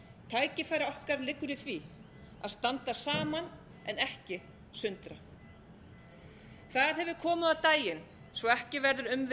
tækifæri okkar liggur í því að standa saman en ekki sundra það hefur komið á daginn svo ekki verður